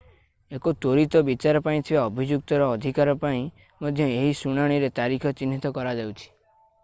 ଏକ ତ୍ୱରିତ ବିଚାର ପାଇଁ ଥିବା ଅଭିଯୁକ୍ତର ଅଧିକାର ପାଇଁ ମଧ୍ୟ ଏହି ଶୁଣାଣିରେ ତାରିଖ ଚିହ୍ନିତ କରାଯାଉଛି